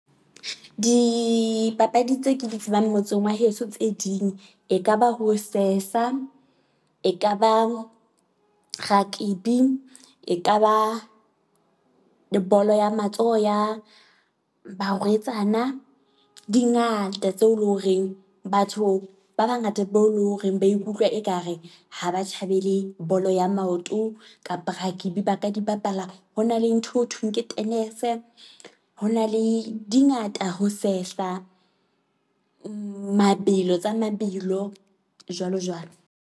Dipapadi tse ke di tsebang motseng wa heso tse ding e ka ba ho sesa. E ka ba rakebi, e ka ba bolo ya matsoho ya barwetsana. Di ngata tseo e leng horeng batho ba bangata be o e leng horeng ba ikutlwa ekare ha ba thabele bolo ya maoto kapa rakebi ba ka di bapala. Ho na le ntho eo ho thweng ke tenese, ho na le di ngata ho sehla mabelo tsa mabelo jwalo jwalo.